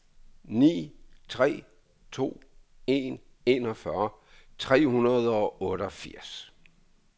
ni tre to en enogfyrre tre hundrede og otteogfirs